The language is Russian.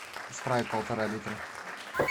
спрайт полтора литра